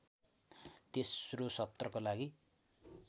तेस्रो सत्रको लागि